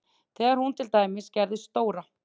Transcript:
Þegar hún til dæmis gerði stóra